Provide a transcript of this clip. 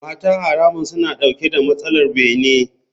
Mata haramun suna dauke da matsalar bene.